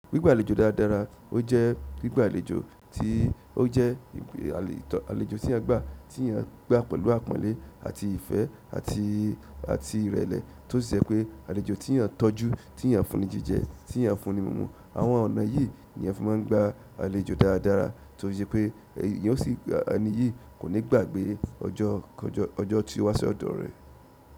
Gbigba àlejò dáadáa, o jẹ gbigba àlejò ti o jẹ àlejò ti a gba pẹ̀lú àpọ́nlé àti ìfẹ́ àti ìrẹ̀lẹ̀, to sì jẹ́ pe àlejò téèyàn tọ́jú, téèyàn fún ni jíjẹ, téèyàn fún ni mímu. Àwọn ọ̀nà yìí ni a fi máà ń gba àlejò dáradára tó ṣe pé enì yíì kò ní gbàgbé ọjọ́ tí o wá sí ọ̀dọ̀ rẹ̀.